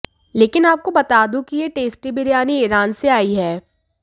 लेकिन आपको बता दूं कि यह टेस्टी बिरयानी ईरान से आई है